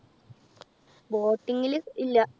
boating ല് ഇല്ല.